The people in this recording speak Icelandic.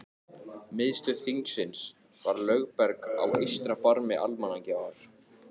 Miðstöð þingsins var Lögberg á eystra barmi Almannagjár.